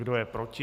Kdo je proti?